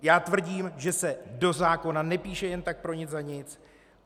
Já tvrdím, že se do zákona nepíše jen tak pro nic za nic.